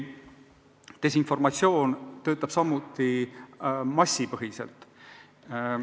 Desinformatsioon töötab samuti massipõhiselt.